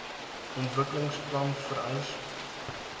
ontwikkelings plan vereis